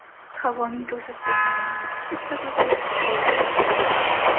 Havoning to‘satdan yomonlashishi sababli qidiruvlar to‘xtatilgan.